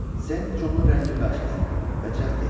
Sent Conun rəngi qaşdı və cəld dedi.